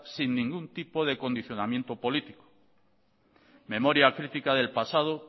sin ningún tipo de condicionamiento político memoria crítica del pasado